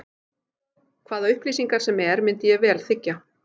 Hvaða upplýsingar sem er myndi ég vel þiggja.